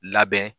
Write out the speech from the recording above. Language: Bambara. Labɛn